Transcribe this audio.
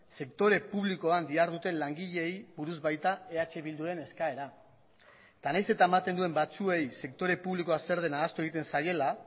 sektore publikoan diharduten langileei buruz baita eh bilduren eskaera eta nahiz eta ematen duen batzuei sektore publikoa zer den ahaztu egiten zaiela